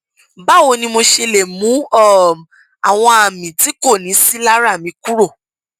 báwo ni mo ṣe lè mú um àwọn àmì tí kò ní sí lára mi kúrò